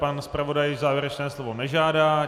Pan zpravodaj závěrečné slovo nežádá.